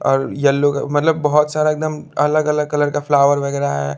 और येलो मतलब बहोत सारा एकदम अलग अलग कलर का फ्लावर वगैरा है।